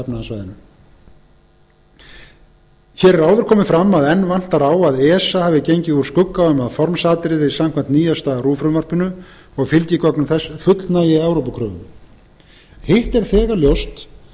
efnahagssvæðinu hér er áður komið fram að enn vantar á að esa hafi gengið úr skugga um að formsatriði samkvæmt nýjasta rúv frumvarpinu og fylgigögnum þess fullnægi evrópukröfum hitt er þegar ljóst að